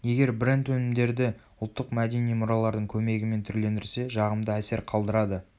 егер бренд-өнімдерді ұлттық мәдени мұралардың көмегімен түрлендірсе жағымды әсер қалдырады